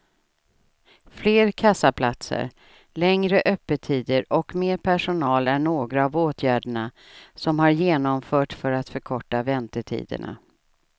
Fler kassaplatser, längre öppettider och mer personal är några av åtgärderna som har genomförts för att förkorta väntetiderna.